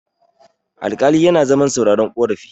alƙali yana zaman sauraron karafi